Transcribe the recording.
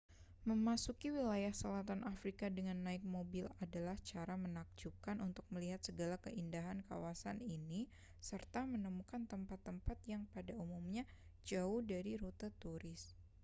memasuki wilayah selatan afrika dengan naik mobil adalah cara menakjubkan untuk melihat segala keindahan kawasan ini serta menemukan tempat-tempat yang pada umumnya jauh dari rute turis